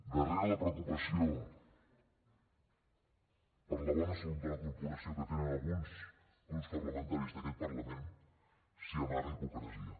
darrere la preocupació per la bona salut de la corporació que tenen alguns grups parlamentaris d’aquest parlament s’hi amaga hipocresia